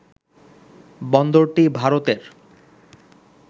বন্দরটি ভারতের